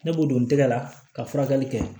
Ne b'o don n tɛgɛ la ka furakɛli kɛ